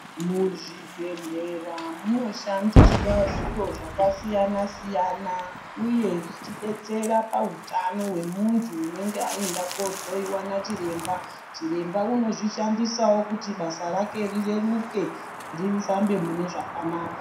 Muzvibhedhlera muno shandiswa zviro zvakasiyana siyana uye zvichidetsera pautano hwemuntu unenge ayenda kunohloyiwa nachiremba chiremba anozvis handisawo kuti basa rake rireruke rifambe mune zvakanaka .